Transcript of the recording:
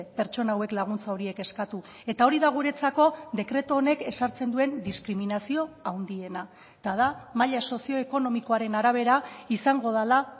pertsona hauek laguntza horiek eskatu eta hori da guretzako dekretu honek ezartzen duen diskriminazio handiena eta da maila sozioekonomikoaren arabera izango dela